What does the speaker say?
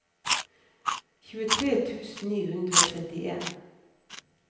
tjuetre tusen ni hundre og trettien